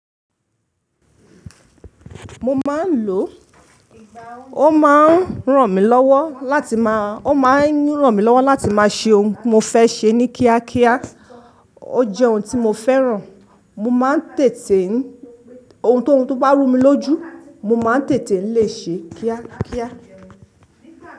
Mo máa ń lò ó, ó máa ń ràn mí lọ́wọ́ láti máa, ó máa ń ràn mí lọ́wọ́ láti máa ṣe ohun mo fẹ́ ṣe ní kíákíá. Ó jẹ́ ohun tí mo fẹ́ràn. Mo máa ń tètè ń, ohun tó bá rú mi lójú, mo máa ń tètè lè ṣe kíákíá.